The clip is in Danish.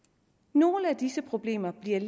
nogle af disse problemer bliver